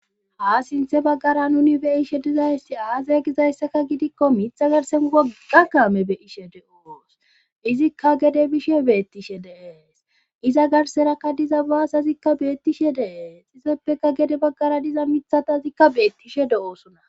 ha sinthe baggara nuni beyishe dizaysti aaze gizayssaka gidikko mitha garsen wogga kaame be ishe de7oos izikka gede bishe beettishe deees iza garserakka diza baasazikka beettishe deees izoppeka gede baggara diza mithatazikka beettishe de7oosona